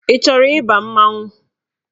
Ị chọrọ ịba mmanwụ?